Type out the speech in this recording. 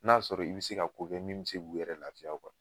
N'a sɔrɔ i bi se ka ko kɛ min be se k'u yɛrɛ lafiya